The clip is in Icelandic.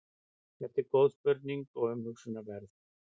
þetta er góð spurning og umhugsunarverð